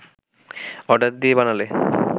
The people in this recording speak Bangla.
অর্ডার দিয়ে বানালে